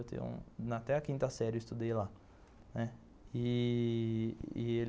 Até a quinta série eu estudei lá. E, e